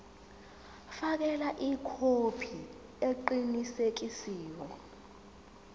fakela ikhophi eqinisekisiwe